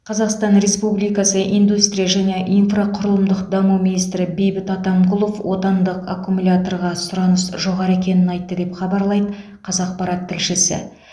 қазақстан республикасы индустрия және инфрақұрылымдық даму министрі бейбіт атамқұлов отандық аккумуляторларға сұраныс жоғары екенін айтты деп хабарлайды қазақпарат тілшісі